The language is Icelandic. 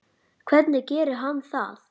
Hvernig gerir hann það?